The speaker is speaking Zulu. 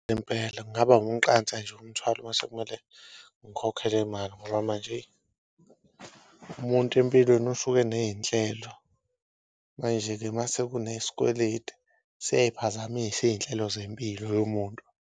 Impela kungaba umqansa nje umthwalo mase kumele ngikhokhe le mali ngoba manje umuntu empilweni usuke eney'nhlelo, manje-ke mase kunesikweleti siyay'phazamisa iy'nhlelo zempilo yomuntu.